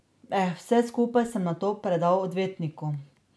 Vse skupaj sem nato predal odvetniku.